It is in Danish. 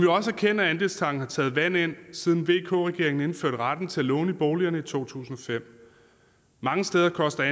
også erkende at andelstanken har taget vand ind siden vk regeringen indførte retten til at låne i boligerne i to tusind og fem mange steder koster